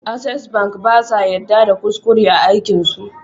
Access bank basa yadda da kuskure a aikin su